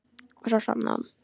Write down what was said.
Og svo sofnaði hún.